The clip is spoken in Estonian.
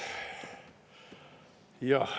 Jah.